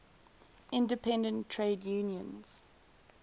independent trade unions